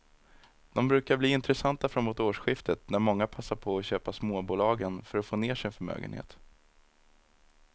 De brukar bli intressanta framåt årsskiftet när många passar på att köpa småbolagen för att få ner sin förmögenhet.